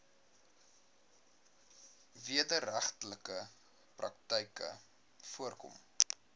wederregtelike praktyke voorkom